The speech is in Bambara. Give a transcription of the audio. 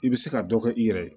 I bɛ se ka dɔ kɛ i yɛrɛ ye